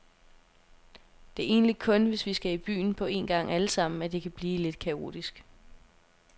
Det er egentlig kun, hvis vi skal i byen på en gang allesammen, at det kan blive lidt kaotisk.